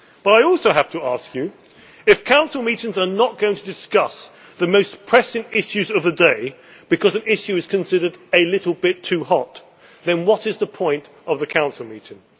But I also have to ask you, if Council meetings are not going to discuss the most pressing issues of the day because an issue is considered a little bit too hot', then what is the point of the Council meeting?